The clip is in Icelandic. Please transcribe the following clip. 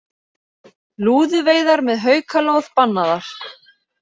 Lúðuveiðar með haukalóð bannaðar